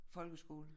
Folkeskole